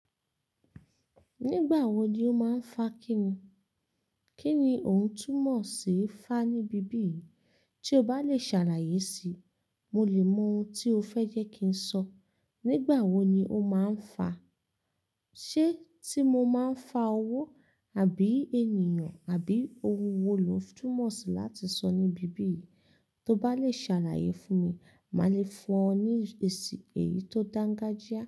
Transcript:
Nígbà wo ni o máa ń fá kí ni? Kí ni ò ń túmọ̀ sí fá níbi bí yìí? Tí o bá lè ṣàlàyé si, mo lè mọ ohun tí o fẹ́ jẹ́ kí ń sọ. Nígbà wo ni o máa ń fá? Ṣé tí mo máa ń fá owó àbí ènìyàn àbí ohun wo lo túmọ̀ sí láti sọ níbi bí yìí? Tí o bá lè ṣàlàyé fún mi, màá le fún ọ ní èsì èyí tó dáńgájíá.